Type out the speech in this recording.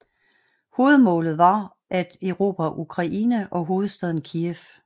Hovedmålet var at erobre Ukraine og hovedstaden Kijev